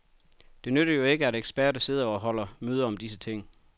Det nytter jo ikke, at eksperter sidder og holder møde om disse ting.